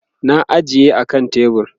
na ajiye a kan tebur